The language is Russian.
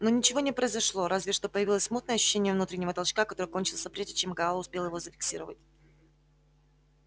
но ничего не произошло разве что появилось смутное ощущение внутреннего толчка который кончился прежде чем гаал успел его зафиксировать